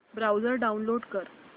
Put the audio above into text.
browser download कर